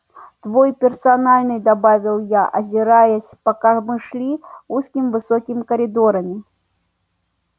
твой персональный добавил я озираясь пока мы шли узкими высокими коридорами